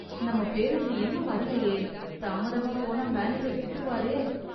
நம்ம பேருந்து இன்னும் வரலயே... தாமதமா போனா மேனேஜர் திட்டுவாரே....